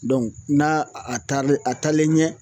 n'a a taarilen a taalen ɲɛ